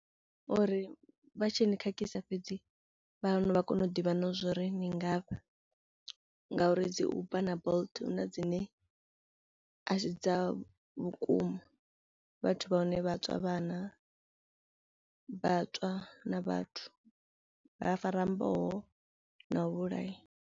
Uri vha tshi ni khakhisa fhedzi vhahanu vha kone u ḓivha na zwori ni ngafhi ngauri dzi Uber na Bolt hu na dzi ne a si dza vhukuma vhathu vha hone vha tswa vhana vhatswa na vhathu, vha fara mboho na u vhulaya.